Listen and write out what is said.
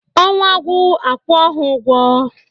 Ọnwa gwụ a kwuo ha ụgwọ.